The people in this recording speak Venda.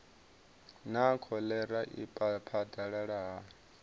naa kholera i phadalala hani